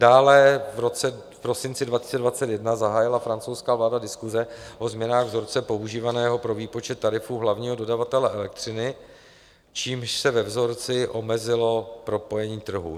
Dále v prosinci 2021 zahájila francouzská vláda diskuse o změnách vzorce používaného pro výpočet tarifu hlavního dodavatele elektřiny, čímž se ve vzorci omezilo propojení trhu.